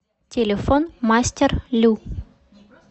телефон мастер лю